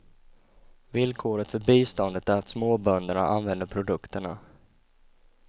Villkoret för biståndet är att småbönderna använder produkterna.